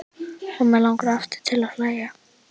Og mig langar aftur til að hlæja.